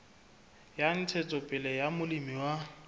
la ntshetsopele ya molemi wa